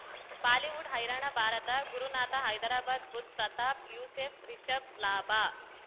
Bollywood ಹೈರಾಣ ಭಾರತ ಗುರುನಾಥ ಹೈದರಾಬಾದ್ ಬುಧ್ ಪ್ರತಾಪ್ ಯೂಸೆಫ್ ರಿಷಬ್ ಲಾಭ